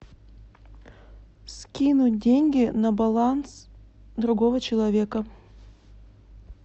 скинуть деньги на баланс другого человека